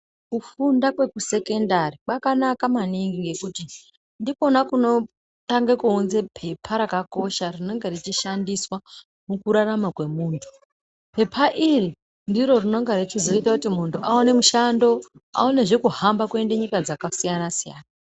Kufunda kwekusekendari kwakanaka maningi ngekuti ndikona kunotange kuunza pepa rakakosha rinenge richishandiswa mukurarama kwemuntu. Pepa iri ndiro rinenga richizoita kuti muntu aone mushando aonezve kuhamba aende nyika dzakasiyana-siyana.